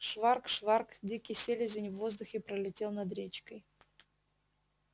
шварк-шварк дикий селезень в воздухе пролетел над речкой